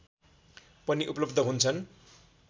पनि उपलब्ध हुन्छन्